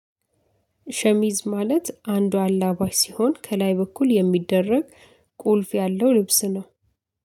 ሸሚዝ ማለት አንዱ አላባሽ ሲሆን ከላይ በኩል የሚደረግ ቁልፍ ያለው ልብስ ነው።